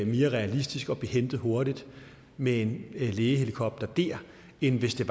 mere realistisk at blive hentet hurtigt med en lægehelikopter der end hvis det